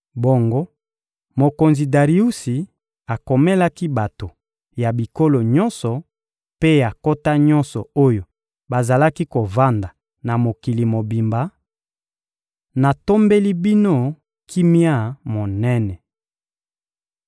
Bongo, mokonzi Dariusi akomelaki bato ya bikolo nyonso mpe ya nkota nyonso oyo bazalaki kovanda na mokili mobimba: Natombeli bino kimia monene!